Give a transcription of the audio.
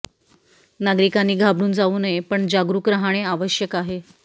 नागरीकांनी घाबरून जाऊ नये पण जागरूक रहाणे आवयक आहे